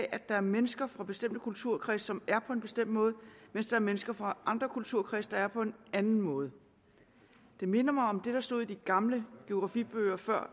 at der er mennesker fra bestemte kulturkredse som er på en bestemt måde mens der er mennesker fra andre kulturkredse der er på en anden måde det minder mig om det der stod i de gamle geografibøger fra